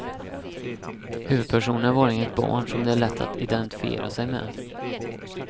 Huvudpersonen är vanligen ett barn som det är lätt att identifiera sig med.